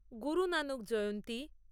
Guru Nanak Jayanti